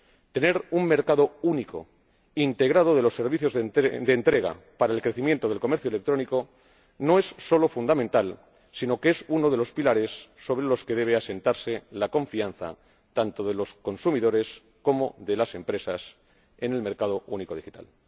Tener un mercado único integrado de los servicios de entrega para el crecimiento del comercio electrónico no es solo fundamental, sino que es uno de los pilares sobre los que debe asentarse la confianza tanto de los consumidores como de las empresas en el mercado único digital.